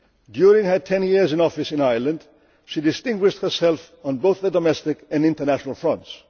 ahead. During her 10 years in office in Ireland, she distinguished herself on both the domestic and international fronts.